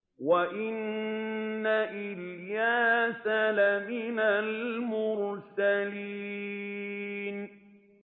وَإِنَّ إِلْيَاسَ لَمِنَ الْمُرْسَلِينَ